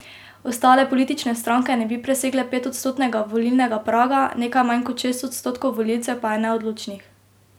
Ostale politične stranke ne bi presegle petodstotnega volilnega praga, nekaj manj kot šest odstotkov volivcev pa je neodločnih.